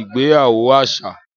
ìgbéyàwó às̩à